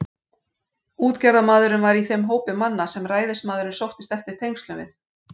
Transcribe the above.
Útgerðarmaðurinn var í þeim hópi manna, sem ræðismaðurinn sóttist eftir tengslum við.